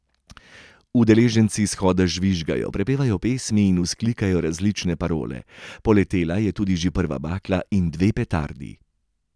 Udeleženci shoda žvižgajo, prepevajo pesmi in vzklikajo različne parole, poletela je tudi že prva bakla in dve petardi.